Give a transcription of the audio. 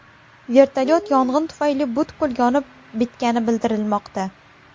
Vertolyot yong‘in tufayli butkul yonib bitgani bildirilmoqda.